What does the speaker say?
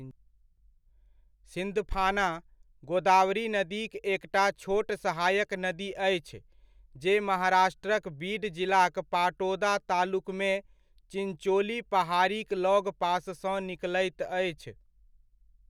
सिन्धफाना, गोदावरी नदीक एकटा छोट सहायक नदी अछि जे महाराष्ट्रक बीड जिलाक पाटोदा तालुकमे चिञ्चोली पहाड़ीक लगपाससँ निकलैत अछि।